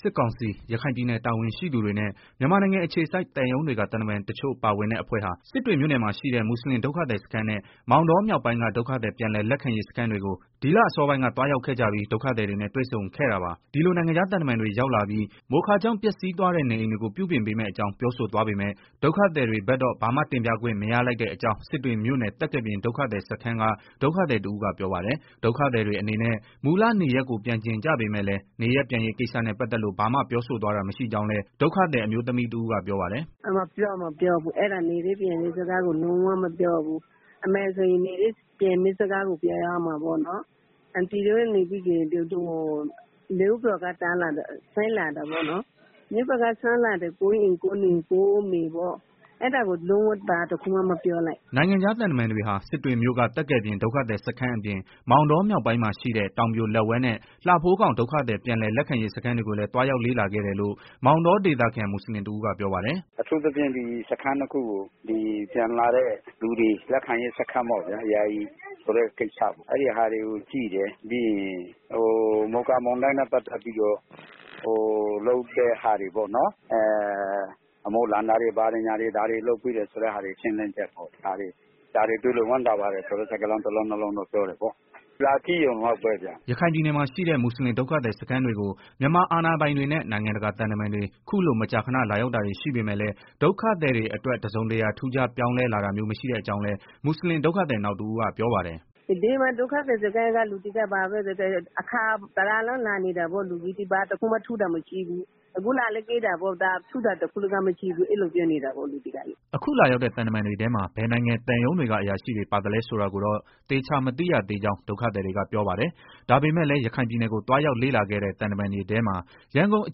စစ်ကောင်စီ ရခိုင်ပြည်နယ် တာဝန်ရှိသူတွေနဲ့ မြန်မာနိုင်ငံအခြေစိုက် သံရုံးတွေက သံတမန်တချို့ ပါဝင်တဲ့အဖွဲ့ဟာ စစ်တွေ မြို့နယ်မှာ ရှိတဲ့ မွတ်ဆလင် ဒုက္ခသည်စခန်းနဲ့ မောင်တောမြောက်ပိုင်းက ဒုက္ခသည် ပြန်လည်လက်ခံရေး စခန်းတွေကို ဒီလ အစောပိုင်းက သွားရောက်ခဲ့ကြပြီး ဒုက္ခသည်တွေနဲ့ တွေ့ဆုံခဲ့တာပါ။ ဒီလို နိုင်ငံခြားသံတမန်တွေ ရောက်လာပြီး မိုခါကြောင့် ပျက်စီးသွားတဲ့ နေအိမ်တွေကို ပြုပြင်ပေးမယ့်အကြောင်း ပြောဆိုသွားပေမဲ့ ဒုက္ခသည်တွေ ဘက်တော့ ဘာမှ တင်ပြခွင့် မရလိုက်တဲ့အကြောင်း စစ်တွေမြို့နယ် သက္ကယ်ပြင် ဒုက္ခသည်စခန်းက ဒုက္ခသည်တဦးက ပြောပါတယ်။ ဒုက္ခသည်တွေအနေနဲ့ မူလနေရပ်ကို ပြန်ချင်ကြပေမဲ့လည်း နေရပ်ပြန်ရေးကိစ္စနဲ့ ပတ်သတ်လို့ ဘာမှ ပြောဆိုသွားတာ မရှိကြောင်းလည်း ဒုက္ခသည် အမျိုးသမီးတဦးက ပြောပါတယ်။ “ နေရပ်ပြန်ရေးစကားကို လုံးဝမပြောဘူး။ အမှန်ဆိုရင် နေရပ်ပြန်မယ့် စကားကို ပြောရမှာပေါ့နော်။ အန်တီတို့ဆိုရင် မြို့ပေါ်ကနေ ဒုက္ခသည်စခန်းကို ရောက်နေတာ၊ ကိုယ့်အိမ်ကိုယ့်မြေ ကိုယ့်နေရာကို ပြန်ရမယ်။ အဲ့ဒါကို ဘာတခုမှ မပြောသွားဘူး။” နိုင်ငံခြား သံတမန်တွေဟာ စစ်တွေမြို့က သက္ကယ်ပြင် ဒုက္ခသည်စခန်းအပြင် မောင်တောမြောက်ပိုင်းမှာရှိတဲ့ တောင်ပြိုလက်ဝဲနဲ့ လှဖိုးခေါင် ဒုက္ခသည် ပြန်လည် လက်ခံရေး စခန်းတွေကိုလည်း သွားရောက် လေ့လာခဲ့တယ်လို့ မောင်တောဒေသခံ မွတ်ဆလင်တဦးက ပြောပါတယ်။ “ အထူးသဖြင့် စခန်းနှစ်ခုကို ပြန်လာတဲ့ သူတွေ လက်ခံတဲ့စခန်းပေါ့။ ယာယီဆိုတဲ့ ကိစ္စ အဲ့ဒီဟာတွေကို ကြည့်တယ်။ ပြီးရင် မိုခါမုန်တိုင်းနဲ့ ပတ်သတ်ပြီးတော့ လုပ်တဲ့ဟာတွေ အမိုးလန်တာတွေ၊ ဘာတွေ ညာတွေ၊ ဒါတွေ လုပ်ပေးတယ် ဆိုတဲ့ ဟာတွေကို ရှင်းလင်းချက်ပေါ့။ ဒါတွေ တွေ့လို့ ဝမ်းသာပါတယ်ဆိုတဲ့ စကားလုံး နှစ်လုံး သုံးလုံးလောက်တော့ ပြောတယ်ပေါ့။ လာကြည့်ရုံလောက်ပဲဗျာ။ ” ရခိုင်ပြည်နယ်မှာ ရှိတဲ့ မွတ်ဆလင်ဒုက္ခသည် စခန်းတွေကို မြန်မာ အာဏာပိုင်တွေနဲ့ နိုင်ငံတကာ သံတမန်တွေ ခုလို မကြာခဏ လာရောက်တာတွေ ရှိပေမဲ့လည်း ဒုက္ခသည်တွေအတွက် တစုံတရာ ထူးခြားပြောင်းလဲ လာတာမျိုး မရှိတဲ့အကြောင်းလည်း မွတ်ဆလင်ဒုက္ခသည် နောက်တဦးက ပြောပါတယ်။ “ဒီမှာ ဒုက္ခသည်စခန်းက လူတွေကိုတော့ သူတို့က အခါ ၁ဝဝ လောက် လာနေတာပေါ့။ လူကြီးတွေက ဘာတခုမှ ထူးတာမရှိဘူး။ အခုလည်း လာကြည့်တယ်။ ဘာမှမထူးဘူး။ ဒီလိုပဲနေကြတယ် ဒုက္ခသည်တွေကလည်း။” အခုလာရောက်တဲ့ သံတမန်တွေထဲမှာ ဘယ်နိုင်ငံ သံရုံးတွေက အရာရှိတွေ ပါသလဲ ဆိုတာကိုတော့ သေချာမသိရကြောင်း ဒုက္ခသည်တွေက ပြောပါတယ်။ ဒါပေမဲ့လည်း ရခိုင်ပြည်နယ်ကို သွားရောက်လေ့လာခဲ့တဲ့ သံတမန်တွေထဲမှာ ရန်ကုန်အ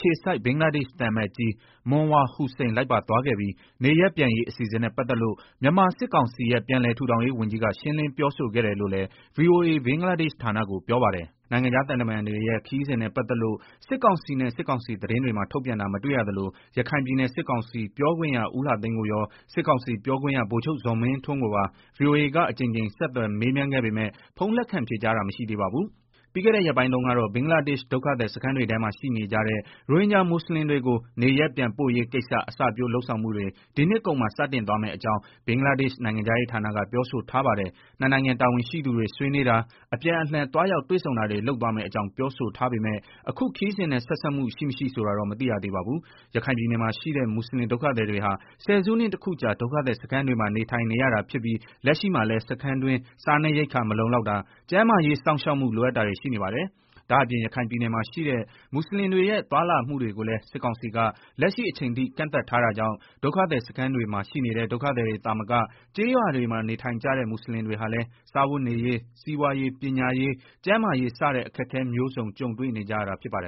ခြေစိုက် ဘင်္ဂလားဒေ့ရှ် သံအမတ်ကြီး Monwar Hossain လိုက်ပါသွားခဲ့ပြီး၊ နေရပ်ပြန်ရေး အစီအစဉ်နဲ့ ပတ်သက်လို့ မြန်မာစစ်ကောင်စီရဲ့ ပြန်လည်ထူထောင်ရေး ဝန်ကြီးက ရှင်းလင်းပြောဆိုခဲ့တယ်လို့လည်း ဗွီအိုအေ ဘင်္ဂလားဒေ့ရှ်ဌာနကို ပြောပါတယ်။ နိုင်ငံခြား သံတမန်တွေရဲ့ ခရီးစဉ်နဲ့ပတ်သက်လို့ စစ်ကောင်စီနဲ့ စစ်ကောင်စီသတင်းတွေမှာ ထုတ်ပြန်တာ မတွေ့ရသလို၊ ရခိုင်ပြည်နယ် စစ်ကောင်စီ ပြောခွင့်ရ ဦးလှသိန်းကိုရော၊ စစ်ကောင်စီ ပြောခွင့်ရ ဗိုလ်ချုပ်ဇော်မင်းထွန်းကိုပါ ဗွီအိုအေက အကြိမ်ကြိမ် ဆက်သွယ် မေးမြန်းပေမဲ့ ဖုန်းလက်ခံ ဖြေကြားတာ မရှိသေးပါဘူး။ ပြီးခဲ့တဲ့ ရက်ပိုင်းတုန်းကတော့ ဘင်္ဂလားဒေ့ရှ် ဒုက္ခသည်စခန်းတွေထဲမှာ ရှိနေကြတဲ့ ရိုဟင်ဂျာ မွတ်ဆလင်တွေကို နေရပ်ပြန်ပို့ရေးကိစ္စ အစပျိုး လုပ်ဆောင်မှုတွေ ဒီနှစ်ကုန်မှာ စတင်သွားမယ့်အကြောင်း ဘင်္ဂလားဒေ့ရှ် နိုင်ငံခြားရေးဌာနက ပြောဆိုထားပါတယ်။ နှစ်နိုင်ငံ တာဝန်ရှိသူတွေ ဆွေးနွေးတာ၊ အပြန်အလှန် သွားရောက် တွေ့ဆုံတာတွေ လုပ်သွားမယ့်အကြောင်း ပြောဆိုထားပေမဲ့၊ အခုခရီးစဉ်နဲ့ ဆက်စပ်မှု ရှိ မရှိ ဆိုတာတော့ မသိရပါဘူး။ ရခိုင်ပြည်နယ်မှာ ရှိတဲ့ မွတ်ဆလင် ဒုက္ခသည်တွေဟာ ဆယ်နှစ်ခုတခုကြာ ဒုက္ခသည်စခန်းတွေမှာ နေထိုင်နေရတာဖြစ်ပြီး လက်ရှိမှာလည်း စခန်းတွင်း စားနပ်ရိက္ခာ မလုံလောက်တာ၊ ကျန်းမာရေး စောင့်ရှောက်မှု လိုအပ်တာတွေ ရှိနေပါတယ်။ ဒါ့အပြင် ရခိုင်ပြည်နယ်မှာ ရှိတဲ့ မွတ်ဆလင်တွေရဲ့ သွားလာမှုတွေကိုလည်း စစ်ကောင်စီက လက်ရှိအချိန်ထိ ကန့်သတ် ထားတာကြောင့် ဒုက္ခသည်စခန်းတွေမှာ ရှိနေတဲ့ ဒုက္ခသည်တွေသာမက ကျေးရွာတွေမှာ နေထိုင်ကြတဲ့ မွတ်ဆလင်တွေဟာလည်း စားဝတ်နေရေး၊ စီးပွားရေး၊ ပညာရေး၊ ကျန်းမာရေး စတဲ့ အခက်အခဲမျိုးစုံ ကြုံတွေ့နေကြရတာ ဖြစ်ပါတယ်